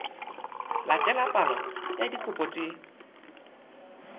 latela palo ya dikopo tse